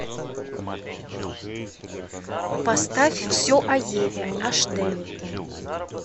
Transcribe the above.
поставь все о еве аш д